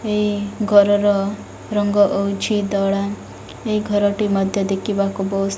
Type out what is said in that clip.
ଏଇ ଘରର ରଙ୍ଗ ହଉଚି ଧଳା। ଏଇ ଘର ଟି ମଧ୍ୟ ଦେଖିବାକୁ ବୋହୁ --